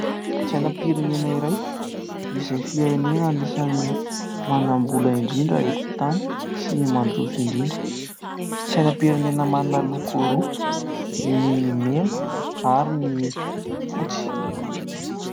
Sainam-pirenena iray izay firenena anisan'ny manam-bola indrindra eto an-tany sy mandroso indrindra. Sainam-pirenena manana loko roa, ny mena ary ny fotsy.